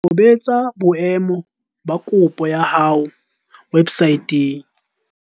Tobetsa boemo ba kopo ya hao websaeteng.